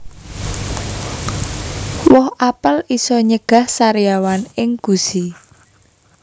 Woh apel iso nyegah sariawan ing gusi